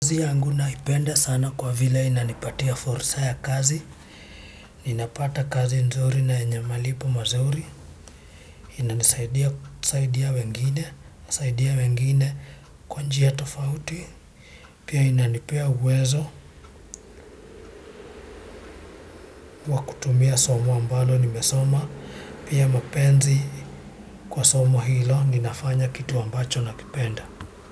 Kazi yangu naipenda sana kwa vile inanipatia fursa ya kazi. Ninapata kazi nzuri na yenye malipo mazuri. Inanisaidia wengine kwa njia tofauti. Pia inanipea uwezo wa kutumia somo ambalo nimesoma. Pia mapenzi kwa somo hilo ninafanya kitu ambacho nakipenda.